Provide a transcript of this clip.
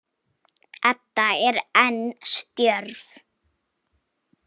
Edda er enn stjörf.